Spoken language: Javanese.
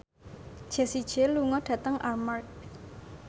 Jessie J lunga dhateng Armargh